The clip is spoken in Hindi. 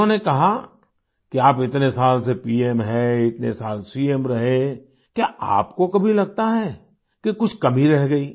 उन्होंने कहा कि आप इतने साल से पीएम हैं इतने साल सीएम रहे क्या आपको कभी लगता है कि कुछ कमी रह गई